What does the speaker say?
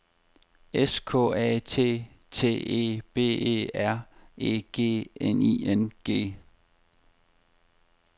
S K A T T E B E R E G N I N G